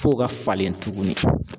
F'o ka falen tuguni.